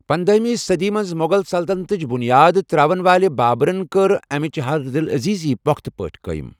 پنداہِمہِ صٔدی منٛز مُغل سلطنتٕچ بُنیاد ترٛاون وٲلہِ بابرَن کٔر امِچہِ ہردِلعزیزی پۄختہٕ پٲٹھۍ قٲیِم۔